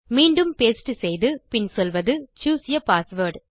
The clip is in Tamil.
மீண்டும் பாஸ்டே செய்து பின் சொல்வது சூஸ் ஆ பாஸ்வேர்ட்